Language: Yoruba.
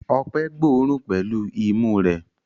Ọpẹ́ gbóòórùn pẹ̀lú imú rẹ̀.